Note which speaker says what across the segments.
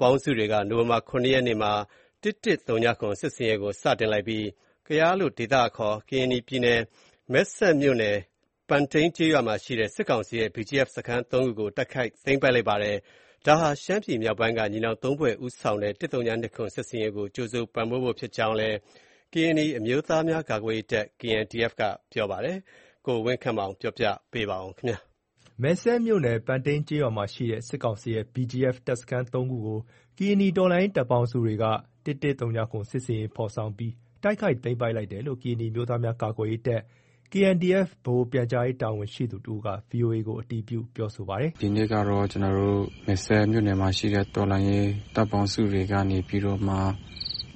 Speaker 1: ပေါင်းစုတွေက နိုဝင်ဘာ ၇ ရက်မှာ ၁၁၀၇ စစ်ဆင်ရေးကို စတင်လိုက်ပြီး ကယား ဒေသအခေါ် ကရင်နီပြည်နယ် မယ်စဲ့မြို့နယ် ပန်တိန်းကျေးရွာမှာ ရှိတဲ့ စစ်ကောင်စီရဲ့ BGF စခန်း ၃ခုကို တိုက်ခိုက်သိမ်းပိုက်လိုက်ပါတယ်။ ဒါဟာ ရှမ်းပြည်မြောက်ပိုင်းက ညီနောင် ၃ဖွဲ့ ဦးဆောင်တဲ့ ၁၀၂၇ စစ်ဆင်ရေး ကို ကြိုဆိုပံ့ပိုး ဖို့ ဖြစ်ကြောင်းလည်း ကရင်နီအမျိုးသားများ ကာကွယ်ရေးတပ် (KNDF) က ပြောပါတယ်။ ဒီသတင်းအပြည့်အစုံကို ကိုဝင်းခန့်မောင် က တင်ပြပေးမှာပါ။
Speaker 2: မယ်စဲ့မြို့နယ် ပန်တိန်းကျေးရွာမှာရှိတဲ့ စစ်ကောင်စီရဲ့ BGF တပ်စခန်း ၃ ခုကို ကရင်နီတော်လှန်ရေး တပ်ပေါင်းစုတွေက ၁၁၀၇ စစ်ဆင်ရေး ဖော်ဆောင်ပြီး တိုက်ခိုက် သိမ်းပိုက်လိုက်တယ်လို့ ကရင်နီအမျိုးသားများကာကွယ်ရေးတပ် (KNDF) ဗဟိုပြန်ကြားရေးတာဝန်ရှိသူတဦးက VOA ကို အတည်းပြုပြောဆိုပါတယ်
Speaker 3: ။ “ဒီနေ့ကတော့ ကျနော်တို့ မယ်စဲ့မြို့နယ်မှာရှိတဲ့ တော်လှန်ရေးတပ်ပေါင်းစုတွေကနေပြီးတော့မှ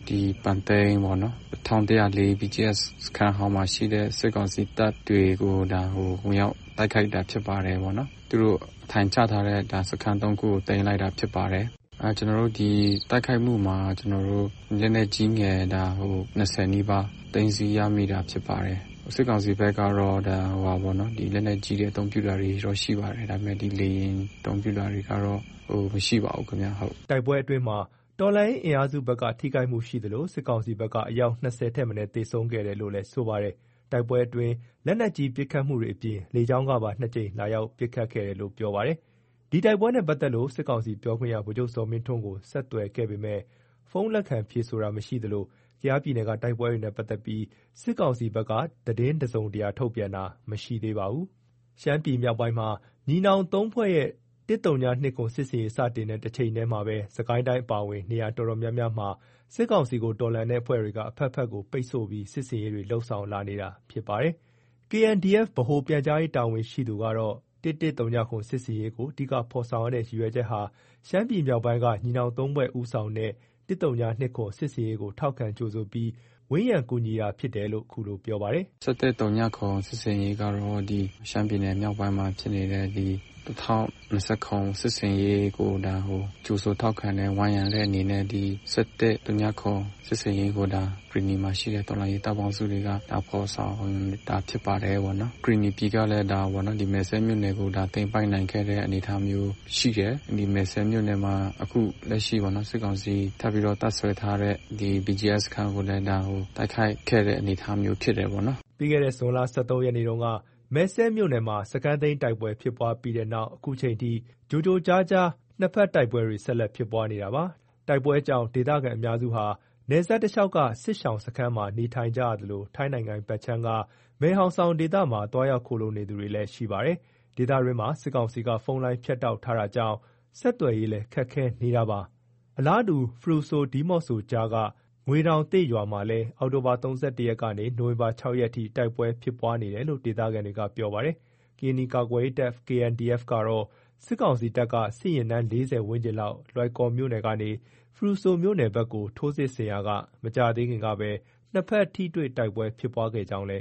Speaker 3: ဒီပန်တိန်းပေါ့နော်၊ ၁၁၀၄ BGF စခန်းဟောင်းမှာရှိတဲ့ စစ်ကောင်စီတပ်တွေကို ဒါဝင်ရောက် တိုက်ခိုက်တာ ဖြစ်ပါတယ်ပေါ့နော်။ သူတို့ အထိုင်ချထားတဲ့ စခန်း ၃ခုကို သိမ်းလိုက်တာဖြစ်ပါတယ်။ ကျနော်တို့ ဒီတိုက်ခိုက်မှုမှာ ကျနော်တို့ လက်နက်ကြီးငယ် ၂၀ နီးပါး သိမ်းဆည်းရမိတာဖြစ်ပါတယ်။ စစ်ကောင်စီဘက်ကတော့ လက်နက်ကြီးအသုံးပြုတာ ရှိပါတယ်။ ဒါပေမယ့် လေယာဉ်အသုံးပြုတာ တွေကတော့ မရှိပါဘူးခင်ဗျ။” တိုက်ပွဲ
Speaker 2: အတွင်းမှာ တော်လှန်ရေး အင်အားစုဘက်က ထိခိုက်မှုရှိသလို စစ်ကောင်စီဘက်က အယောက် ၂၀ ထက်မနည်း သေဆုံးခဲ့တယ်လို့ လည်း ပြောပါတယ်။ တိုက်ပွဲအတွင်းမှာ လက်နက်ကြီး ပစ်ခတ်မှု တွေအပြင် လေကြောင်းကနေပါ ၂ ကြိမ် လာရောက်ပစ်ခတ်ခဲ့တယ်လို့ ပြောပါတယ်။ ဒီတိုက်ပွဲနဲ့ ပတ်သက်လို့ စစ်ကောင်စီပြောခွင့်ရ ဗိုလ်ချုပ်ဇော်မင်းထွန်းကို ဆက်သွယ်ခဲ့ပေမယ့် ဖုန်းလက်ခံ ဖြေဆိုတာမရှိသလို ကယားပြည်နယ်က တိုက်ပွဲတွေနဲ့ ပတ်သက်ပြီး စစ်ကောင်စီဘက်က သတင်း တစုံတရာထုတ်ပြန်တာ မရှိသေးပါဘူး။ ရှမ်းပြည်မြောက်ပိုင်းမှာ ညီနောင် ၃ဖွဲ့ရဲ့ ၁၀၂၇ စစ်ဆင်ရေး စတင်တဲ့ တချိန်တည်းမှာပဲ စစ်ကိုင်းတိုင်း အပါအဝင် နေရာ အတော်များများမှာ စစ်ကောင်စီကို တော်လှန်နေတဲ့ အဖွဲ့တွေက အဖက်ဖက်ကို ပိတ်ဆို့ ပြီး စစ်ဆင်ရေးတွေ လုပ်ဆောင်လာနေတာ ဖြစ်ပါတယ်။ (KNDF) ဗဟိုပြန်ကြားရေးတာဝန်ရှိသူကတော့ ၁၁၀၇ စစ်ဆင်ရေးကို အဓိက ဖော်ဆောင်ရတဲ့ ရည်ရွယ်ချက်ဟာ ရှမ်းပြည်မြောက်ပိုင်းက ညီနောင် ၃ဖွဲ့ ဦးဆောင်တဲ့ ၁၀၂၇ စစ်ဆင်ရေးကို ထောက်ခံကြိုဆိုပြီး ဝန်းရံ ကူညီတာဖြစ်တယ်လို့ ခုလို ပြောပါတယ်
Speaker 3: ။ “၁၁၀၇ စစ်ဆင်ရေးကတော့ ဒီရှမ်းပြည်နယ်မြောက်ပိုင်းမှာ ဖြစ်နေတဲ့ ဒီ ၁၀၂၇ စစ်ဆင်ရေးကို ဒါကြိုဆိုထောက်ခံတယ်၊ ဝန်းရံတဲ့ အနေနဲ့ ဒီ ၁၁၀၇ စစ်ဆင်ရေးကို ကရင်နီမှာရှိတဲ့ တော်လှန်ရေး တပ်ပေါင်းစုတွေက ဖော်ဆောင်တာဖြစ်ပါတယ်။ ကရင်နီပြည်ကလည်း ဒီမယ်စဲ့မြို့နယ်ကို၊ ဒါသိမ်းပိုက် နိုင်ခဲ့တဲ့ အနေအထားမျိုးရှိတယ်။ ဒီမယ်စဲ့မြို့နယ်မှာ အခု လက်ရှိပေါ့နော်၊ စစ်ကောင်စီက ထပ်ပြီးတော့ တပ်စွဲထားတဲ့ ဒီ BGF တပ်စခန်းကိုလည်း တိုက်ခိုက်ခဲ့တဲ့ အနေအထားမျိုးဖြစ်တယ် ပေါ့နော်။
Speaker 2: ” ပြီးခဲ့ ဇွန်လ ၁၃ ရက်နေ့တုန်း မယ်စဲ့မြို့နယ်မှာ စခန်းသိမ်းတိုက်ပွဲဖြစ်ပွားခဲ့ပြီတဲ့နောက် ခုချိန်ထိ ကြိုကြားကြိုကြား နှစ်ဖက် တိုက်ပွဲတွေ ဆက်လက်ဖြစ်ပွားနေတာပါ။ တိုက်ပွဲကြောင့် ဒေသခံ အများစုက နယ်စပ်တလျှောက်က စစ်ရှောင်စခန်းမှာ နေထိုင်ကြသလို ထိုင်းနိုင်ငံဖက်ခြမ်းက မယ်ဟောင်ဆောင် ဒေသမှာ သွားရောက်ခိုလှုံနေသူတွေလည်း ရှိပါတယ်။ ဒေသတွင်းမှာ စစ်ကောင်စီက ဖုန်းလိုင်းဖြတ်တောက် ထားတာကြောင့် ဆက်သွယ်ရေးလည်း ခက်ခဲနေတာပါ။ အလားတူ ဖရူဆို-ဒီးမော့ဆိုကြားက ငွေတောင်ရွာသစ်မှာလည်း အောက်တိုဘာ ၃၁ ရက်နေကနေ နိုဝင်ဘာ ၆ ရက်အထိ တိုက်ပွဲဖြစ်ပွားနေတယ်လို့ ဒေသခံတွေက ပြောပါတယ်။ ကရင်နီကာကွယ်ရေး တပ် KNDF ကတော့ စစ်ကောင်စီတပ်က စစ်ယာဉ်တန်း ၄၀ ဝန်းကျင်လောက် လွိုင်ကော် မြို့နယ် ကနေ ဖရူဆိုမြို့နယ်ဖက်ကို ထိုးစစ်ဆင်ရာကနေ မကြာသေးခင်ကပဲ နှစ်ဖက် ထိတွေ့ တိုက်ပွဲ ဖြစ်ပွါးခဲ့ကြောင်းလ